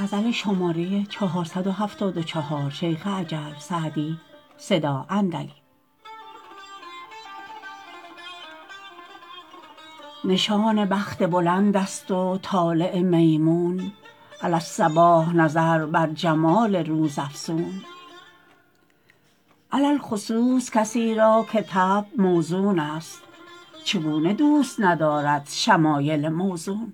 نشان بخت بلند است و طالع میمون علی الصباح نظر بر جمال روزافزون علی الخصوص کسی را که طبع موزون است چگونه دوست ندارد شمایل موزون